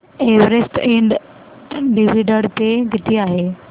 Everest इंड dividend पे किती आहे